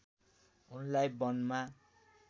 उनलाई वनमा